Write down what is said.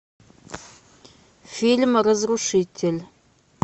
фильм разрушитель